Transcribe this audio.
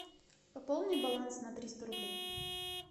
пополни баланс на триста рублей